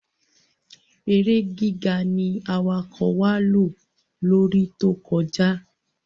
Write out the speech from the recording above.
èrè gíga ní awakọ̀ wá ló lórí To kọjá.